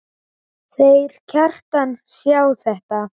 Þeir Kjartan sjá þetta.